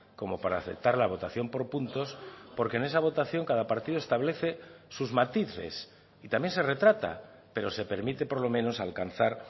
como para aceptar la votación por puntos porque en esa votación cada partido establece sus matices y también se retrata pero se permite por lo menos alcanzar